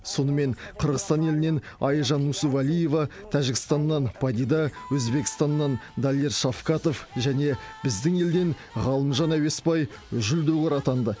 сонымен қырғызстан елінен айжан нүсіпәлиева тәжікстаннан падида өзбекстаннан далер шавкатов және біздің елден ғалымжан әуесбай жүлдегер атанды